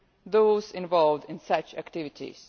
those involved in such activities.